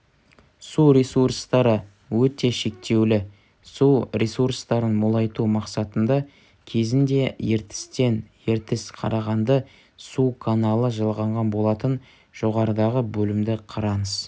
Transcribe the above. су ресурстары өте шектеулі су ресурстарын молайту мақсатында кезінде ертістен ертіс-қарағанды су каналы жалғанған болатын жоғарыдағы бөлімді қараңыз